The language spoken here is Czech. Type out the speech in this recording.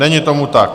Není tomu tak.